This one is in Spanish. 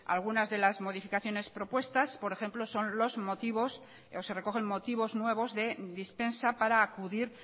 algunas de las modificaciones propuestas por ejemplo son los motivos o se recogen motivos nuevos de dispensa para acudir